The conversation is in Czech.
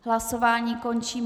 Hlasování končím.